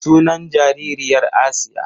Sunan jaririyar Asiya.